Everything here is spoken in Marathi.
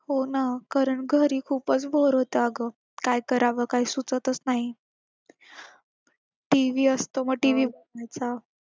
हो ना कारण घरी खूपच bore होतं अगं काय करावं काय सुचतच नाही TV असतो मग TV